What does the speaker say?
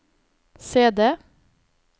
CD